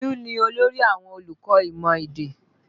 Olú ni olórí àwọn olùkọ́ imọ èdè